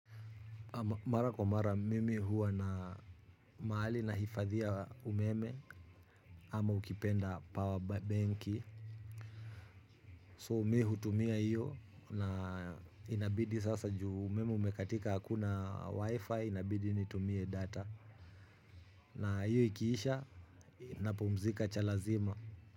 Mara kwa mara mimi huwa na mahali nahifadhia umeme ama ukipenda power benki. So me hutumia hiyo na inabidi sasa ju umeme umekatika hakuna wifi inabidi nitumie data. Na hiyo ikiisha napumzika cha lazima.